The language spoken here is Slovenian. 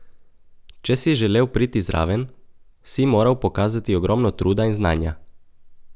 Če si želel priti zraven, si moral pokazati ogromno truda in znanja.